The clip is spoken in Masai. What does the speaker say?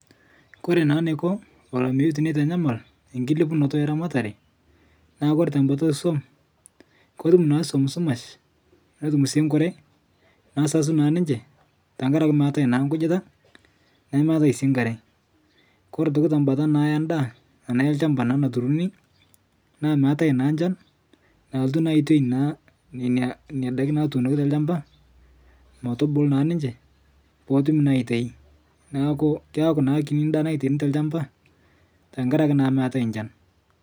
Kore naa neiko olameyu teneitanyamal enkilepunoto eramatare naa kore te bata eswom ketum naa swom sumash netum sii nkure nesasu naa ninche ntankare ake meatae naa nkujita nemeatae sii nkare kore otoki tebata endaa ana elchamba naa naturuni naa meatae naa nchan nalotu naa aitoi naa nena daki naatuunoki te lchamba metubulu naa ninche pootumi naa aitai naaku keaku naa kini ndaa naitaini telchamba tankare ake meatae nchan.